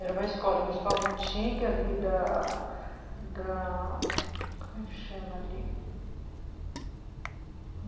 Era uma escola, uma escola antiga ali da da... Como é que chama ali?